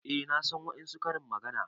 Eh na san wadansu Karin magana.